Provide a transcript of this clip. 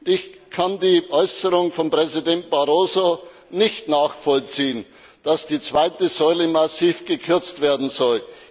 Ich kann die Äußerung von Präsident Barroso nicht nachvollziehen, dass die zweite Säule massiv gekürzt werden soll.